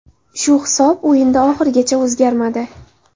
Shu hisob o‘yinda oxirigacha o‘zgarmadi.